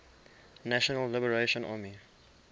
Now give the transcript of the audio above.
national liberation army